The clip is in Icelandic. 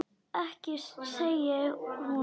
Ekki segir hún.